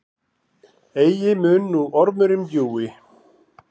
Eigi mun nú ormurinn bjúgi,